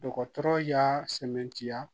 Dɔgɔtɔrɔ y'a sɛmɛntiya